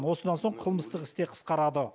осыдан соң қылмыстық іс те қысқарады